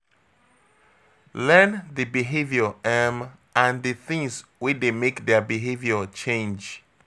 Learn di behaviour um and di things wey dey make their behavior change